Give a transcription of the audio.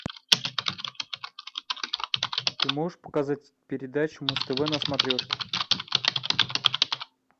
ты можешь показать передачу муз тв на смотрешке